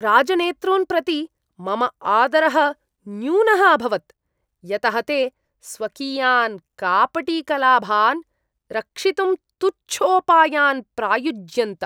राजनेतॄन् प्रति मम आदरः न्यूनः अभवत्, यतः ते स्वकीयान् कापटिकलाभान् रक्षितुं तुच्छोपायान् प्रायुज्यन्त।